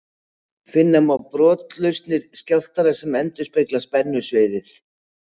Finna má brotlausnir skjálftanna sem endurspegla spennusviðið.